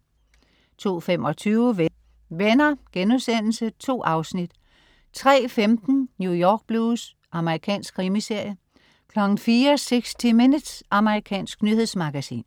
02.25 Venner.* 2 afsnit 03.15 New York Blues. Amerikansk krimiserie 04.00 60 Minutes. Amerikansk nyhedsmagasin